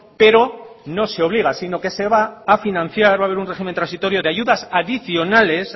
pero no se obliga sino que se va a financiar va a haber un régimen transitorio de ayudas adicionales